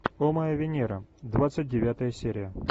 о моя венера двадцать девятая серия